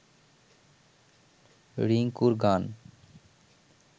রিংকুর গান